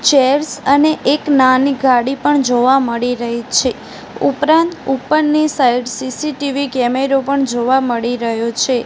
Chairs અને એક નાની ગાડી પણ જોવા મળી રહી છે ઉપરાંત ઉપરની સાઈડ સી_સી_ટી_વી કેમેરો પણ જોવા મળી રહ્યો છે.